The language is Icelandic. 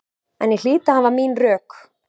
En ég hlýt að hafa mín rök.